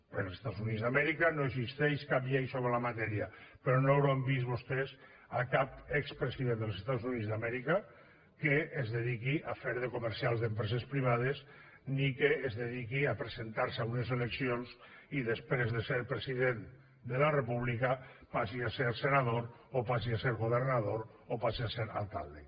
als estats units d’amèrica no existeix cap llei sobre la matèria però no hauran vist vostès cap expresident dels estats units d’amèrica que es dediqui a fer de comercial d’empreses privades ni que es dediqui a presentar se a unes eleccions i després de ser president de la república passi a ser senador o passi a ser governador o passi a ser alcalde